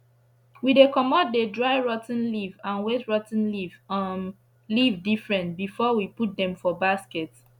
we dey comot the dry rot ten leaf and wet rot ten um leaf diifferent before we put dem for basket